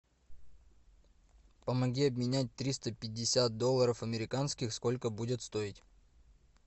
помоги обменять триста пятьдесят долларов американских сколько будет стоить